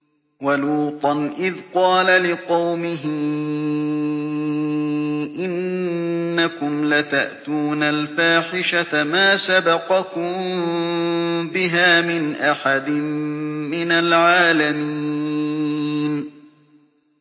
وَلُوطًا إِذْ قَالَ لِقَوْمِهِ إِنَّكُمْ لَتَأْتُونَ الْفَاحِشَةَ مَا سَبَقَكُم بِهَا مِنْ أَحَدٍ مِّنَ الْعَالَمِينَ